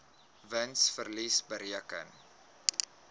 wins verlies bereken